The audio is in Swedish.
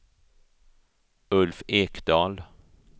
Ulf Ekdahl